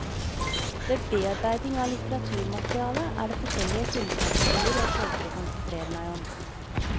Ved bearbeiding av litteraturmaterialet er det forskjellige kildekategorier jeg søker å konsentrere meg om.